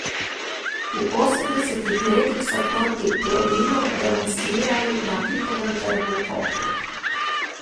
V osemdesetih letih so proti Plominu demonstrirali na Titovem trgu v Kopru.